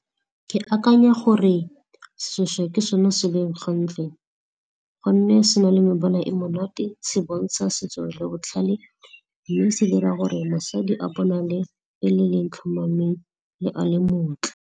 Ke akanya gore seshweshwe ke sone se leng gantle gonne se na le mebala e monate, se bontsha setso le botlhale mme se dira gore mosadi a bonale e le ya itlhomameng mme a le motle.